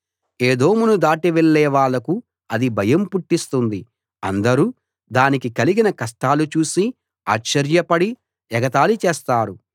ఏదోమును దాటి వెళ్ళే వాళ్ళకు అది భయం పుట్టిస్తుంది అందరూ దానికి కలిగిన కష్టాలు చూసి ఆశ్చర్యపడి ఎగతాళి చేస్తారు